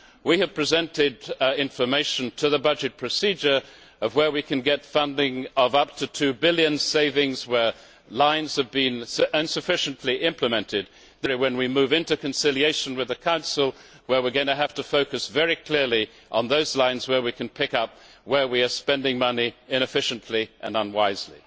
We have presented information for the budget procedure on where we can get funding of up to EUR 2 billion, savings where lines have been insufficiently implemented. When we move into conciliation with the Council, we are going to have to focus very clearly on those lines where we can identify that we are spending money inefficiently and unwisely.